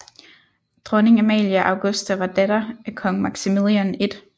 Dronning Amalia Augusta var datter af kong Maximilian 1